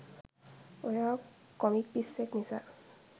ඔයා කොමික් පිස්සෙක් නිසා